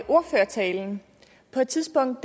ordførertalen på et tidspunkt